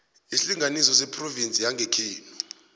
isilinganiso sephrovinsi yangekhenu